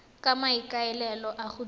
ka maikaelelo a go dira